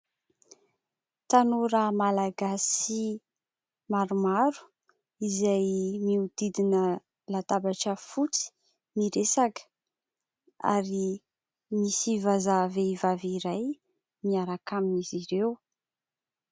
Tanora Malagasy maromaro, izay miodidina latabatra fotsy, miresaka ; ary misy vazaha vehivavy iray miaraka amin'izy ireo.